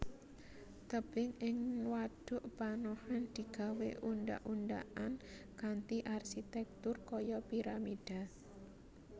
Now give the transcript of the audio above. Tebing ing wadhuk panohan digawé undhak undhakan kanthi arsitèktur kaya piramida